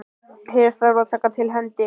Hér þarf að taka til hendi.